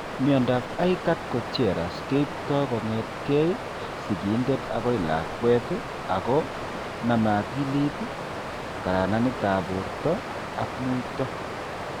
Miandoab Aicardi Goutieres keipto kong'etke sigindet akoi lakwet ako name akilit, kararanetab borto ak muito.